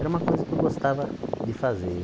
Era uma coisa que eu gostava de fazer.